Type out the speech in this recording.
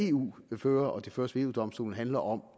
eu fører og de føres ved eu domstolen handler om